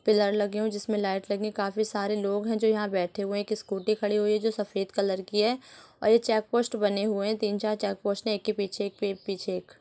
Pillar लगे हुए हैं। जिसमे लाइट लगी है। काफी सारे लोग हैं जो यहाँ बैठे हुए है। एक स्कूटी खड़ी हुई है जो सफेद कलर की है और चेक पोस्ट बने हुए हैं। तीन चार चेक पोस्ट एक के पीछे एक पीछे एक।